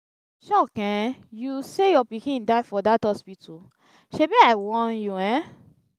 e shock um you say your pikin die for dat hospital shebi i warn you um.